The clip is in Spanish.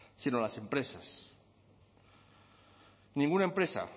sino las empresas ninguna empresa